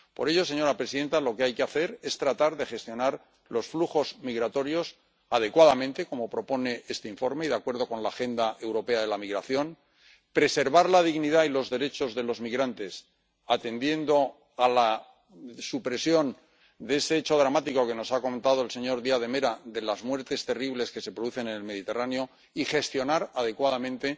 Por ello, señora presidenta, lo que hay que hacer es tratar de gestionar los flujos migratorios adecuadamente, como propone este informe, y, de acuerdo con la Agenda Europea de la Migración, preservar la dignidad y los derechos de los migrantes, atendiendo a la supresión de ese hecho dramático que nos ha comentado el señor Díaz de Mera, de las muertes terribles que se producen en el Mediterráneo, y gestionar adecuadamente